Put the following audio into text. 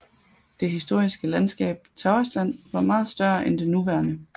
Det historiske landskab Tavastland var meget større end det nuværende